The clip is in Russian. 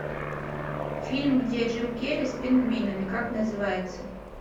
фильм где джим керри с пингвинами как называется